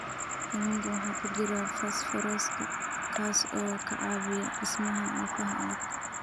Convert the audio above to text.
Kalluunka waxaa ku jira fosfooraska kaas oo ka caawiya dhismaha lafaha adag.